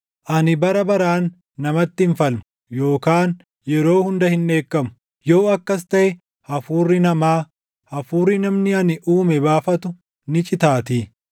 Ani bara baraan namatti hin falmu; yookaan yeroo hunda hin dheekkamu; yoo akkas taʼe hafuurri namaa, hafuurri namni ani uume baafatu ni citaatii.